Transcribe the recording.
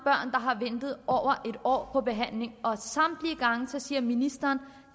har ventet over en år på behandling og samtlige gange siger ministeren